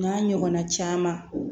N'a ɲɔgɔnna caman